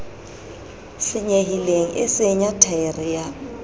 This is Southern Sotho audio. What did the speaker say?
senyehileng e senya thaere ya